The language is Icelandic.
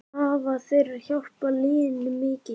Hafa þeir hjálpað liðinu mikið?